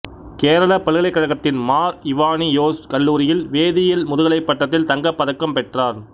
கேரள பல்கலைக்கழகத்தின் மார் இவானியோஸ் கல்லூரியில் வேதியியலில் முதுகலை பட்டத்தில் தங்கப் பதக்கம் பெற்றார்